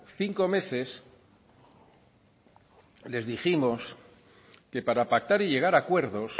cinco meses les dijimos que para pactar y llegar a acuerdos